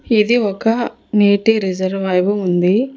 ఇది ఒక నేటి రిజర్వాయర్ ఉంది.